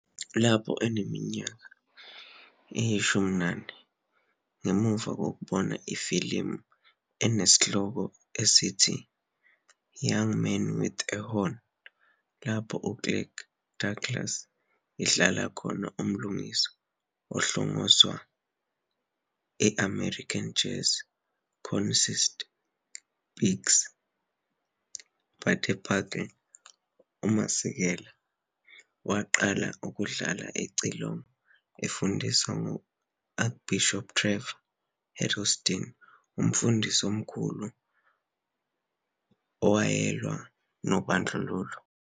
Lapho eneminyaka engama-14, ngemva kokubona ifilimu esihloko sithi "Young Man with a Horn", lapho u-Kirk Douglas idlala khona umlingiswa ohlongozwayo e-American jazz cornetist Bix Beiderbecke, uMasekela waqala ukudlala icilongo efundiswa U-Archbishop Trevor Huddleston, umfundisi omkhulu owayelwa nobandlululo eSt.